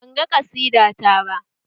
Banga ƙasida ta ba